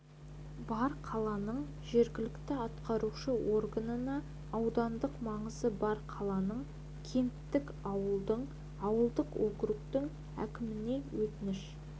бар қаланың жергілікті атқарушы органына аудандық маңызы бар қаланың кенттің ауылдың ауылдық округтің әкіміне өтініш